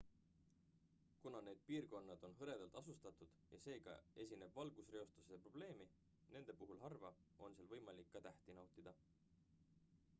kuna need piirkonnad on hõredalt asustatud ja seega esineb valgusreostuse probleemi nende puhul harva on seal võimalik ka tähti nautida